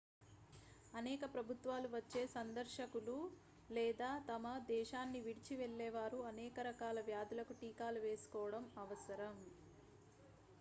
అనేక ప్రభుత్వాలు వచ్చే సందర్శకులు లేదా తమ దేశాన్నివిడిచి వెళ్ళేవారు అనేక రకాల వ్యాధులకు టీకాలు వేసుకోవడం అవసరం